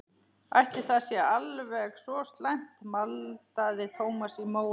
Ætli það sé alveg svo slæmt maldaði Thomas í móinn.